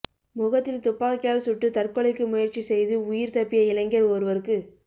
முகத்தில் துப்பாக்கியால் சுட்டு தற்கொலைக்கு முயற்சி செய்து உயிர் தப்பிய இளைஞர் ஒருவருக்கு